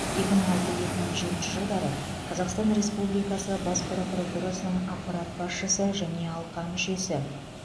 екі мың алты екі мың жетінші жылдары қазақстан республикасы бас прокуратурасының аппарат басшысы және алқа мүшесі